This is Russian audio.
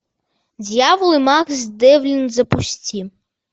дьявол и макс девлин запусти